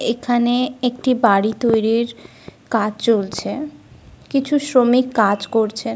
এখানে একটি বাড়ি তৈরির কাজ চলছে। কিছু শ্রমিক কাজ করছে।